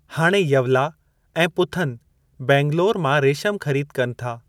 हाणे यवला ऐं पुथन बैंगलौर मां रेशम ख़रीद कनि था।